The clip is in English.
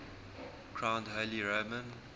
crowned holy roman